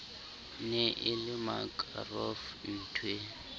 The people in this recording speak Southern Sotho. ne e le makaroff nthwe